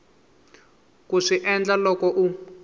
ku swi endla loko u